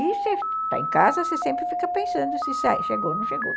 E você está em casa, você sempre fica pensando se chegou ou não chegou.